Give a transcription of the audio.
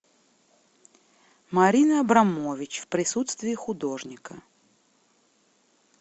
марина абрамович в присутствии художника